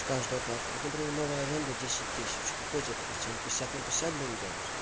каждая плата вот например новая аренда десять тысяч какой тебе процент пятьдесят на пятьдесят будем делать